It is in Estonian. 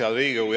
Hea Riigikogu!